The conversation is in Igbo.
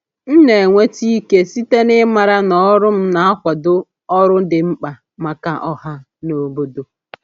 M na-enweta ike site n’ịmara na ọrụ m na-akwado ọrụ dị mkpa maka ọha na obodo.